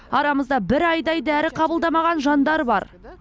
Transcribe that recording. арамызда бір айдай дәрі қабылдамаған жандар бар